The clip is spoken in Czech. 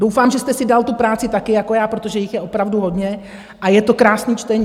Doufám, že jste si dal tu práci taky jako já, protože jich je opravdu hodně a je to krásný čtení.